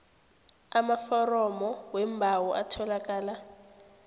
amaforomo weembawo atholakala